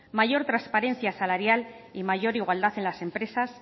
mayor transparencia salarial y mayor igualdad en las empresas